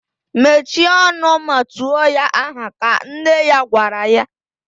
Mechie ọnụ ma tuo ya aha! ka nne ya gwara ya